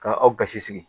Ka aw gasi sigi